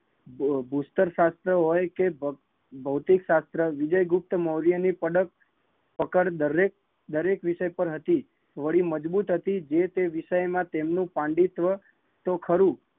દુસ્તર શાસ્ત્ર હોય કે ભૌતિક શાસ્ત્ર વિજયગુપ્તમૌર્ય ની કકડ દરેક વિષય પર હતી, વળી મજબૂત હતી જે તે વિષય માં તેનો તેનું પંડિતવ તો ખરું